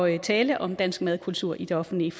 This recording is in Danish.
at tale om dansk madkultur i det offentlige